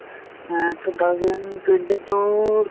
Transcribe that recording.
হে two thousand twenty two ৰ